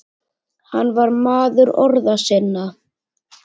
Hann var maður orða sinna.